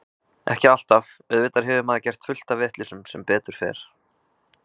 Ekki alltaf, auðvitað hefur maður gert fullt af vitleysum sem betur fer.